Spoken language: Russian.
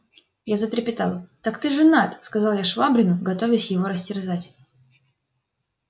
я затрепетал так ты женат сказал я швабрину готовяся его растерзать